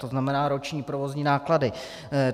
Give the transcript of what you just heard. To znamená roční provozní náklady?